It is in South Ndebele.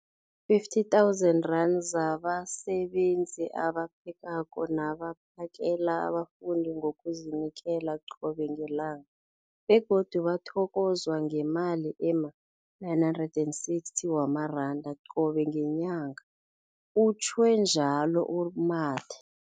50 000 zabasebenzi abaphekako nabaphakela abafundi ngokuzinikela qobe ngelanga, begodu bathokozwa ngemali ema-960 wamaranda qobe ngenyanga, utjhwe njalo u-Mathe.